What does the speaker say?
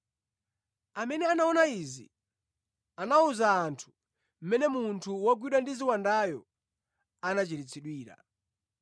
Amene anaona izi anawuza anthu mmene munthu wogwidwa ndi ziwandayo anachiritsidwira.